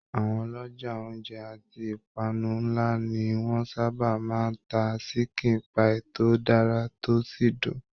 Àwọn ọlọjà ounjẹ àti ipanu nlá ni wọn sábà máa n tá sikin pai tó dára tó sì dùn.